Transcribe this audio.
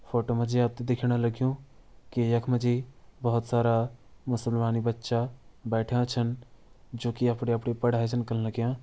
फोटो मा जी आप तैं दिख्यण लग्यूं कि यख म जी बोहोत सारा मुसलमानी बच्चा बैठयां छन जू कि अपणी-अपणी पढ़ाई छन कन लग्यां।